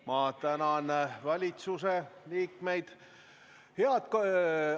Ma tänan valitsuse liikmeid!